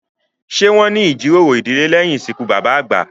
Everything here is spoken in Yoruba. Ṣé wón ní ìjíròrò ìdílé lẹ̀yìn ìsìnkú bàbà àgbà?